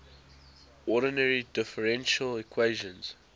ordinary differential equations